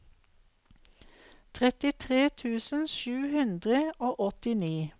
trettitre tusen sju hundre og åttini